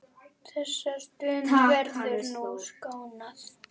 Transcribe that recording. Þessara stunda verður nú saknað.